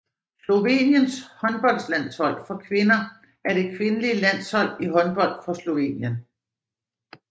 Sloveniens håndboldlandshold for kvinder er det kvindelige landshold i håndbold for Slovenien